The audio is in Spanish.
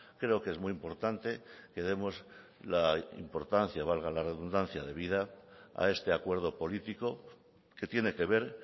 creo que es muy importante que demos la importancia valga la redundancia debida a este acuerdo político que tiene que ver